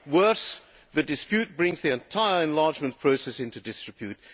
Worse, the dispute brings the entire enlargement process into disrepute.